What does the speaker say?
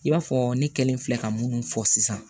I b'a fɔ ne kɛlen filɛ ka munnu fɔ sisan